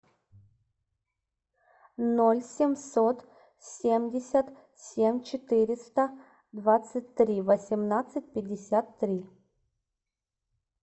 ноль семьсот семьдесят семь четыреста двадцать три восемнадцать пятьдесят три